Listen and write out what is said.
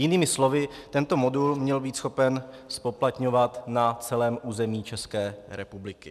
Jinými slovy tento modul měl být schopen zpoplatňovat na celém území České republiky.